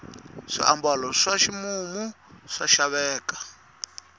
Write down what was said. swiambalo swa ximumu swa xaveka